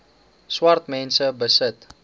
swart mense besit